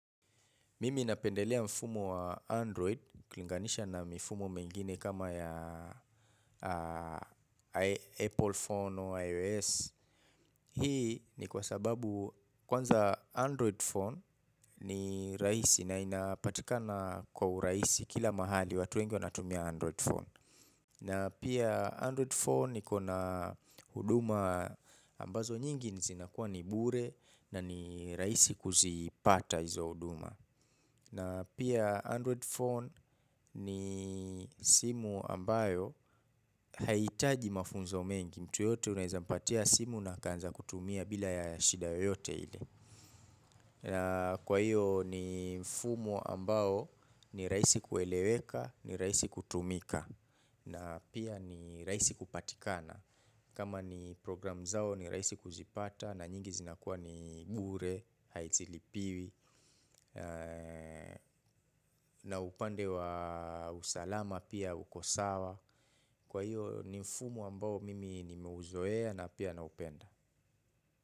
Mimi napendelea mfumo wa Android, ukilinganisha na mfumo mengine kama ya Apple Phone o iOS. Hii ni kwa sababu kwanza Android Phone ni raisi na inapatikana kwa uraisi kila mahali watu wengi wanatumia Android Phone. Na pia Android Phone ni kona uduma ambazo nyingi zinakuwa nibure na ni raisi kuzipata hizo uduma. Na pia Android phone ni simu ambayo haitaji mafunzo mengi mtu yote unahezampatia simu na akanza kutumia bila ya shida yoyote ile. Kwa hiyo ni mfumo ambayo ni raisi kueleweka ni raisi kutumika na pia ni raisi kupatikana. Kama ni program zao ni raisi kuzipata na nyingi zinakuwa ni bure, haizilipiwi na upande wa usalama pia ukosawa. Kwa hiyo ni mfumu ambao mimi ni meuzoea na pia na upenda.